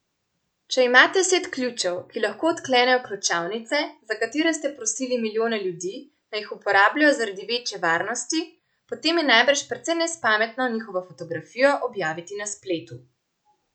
Če imate set ključev, ki lahko odklenejo ključavnice, za katere ste prosili milijone ljudi, naj jih uporabljajo zaradi večje varnosti, potem je najbrž precej nespametno njihovo fotografijo objaviti na spletu.